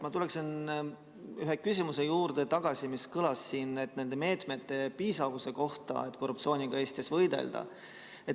Ma tuleksin tagasi ühe küsimuse juurde, mis siis oli nende meetmete piisavuse kohta, et korruptsiooniga Eestis võidelda.